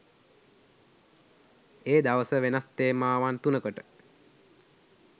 ඒ දවස වෙනස් තේමාවන් තුනකට